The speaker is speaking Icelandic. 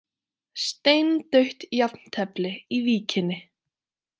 Steindautt jafntefli í Víkinni